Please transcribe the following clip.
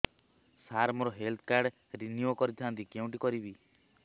ସାର ମୋର health card renew କରିଥାନ୍ତି କେଉଁଠି କରିବି